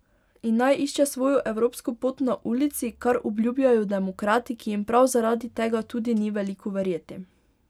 In naj išče svojo evropsko pot na ulici, kar obljubljajo demokrati, ki jim prav zaradi tega tudi ni veliko verjeti.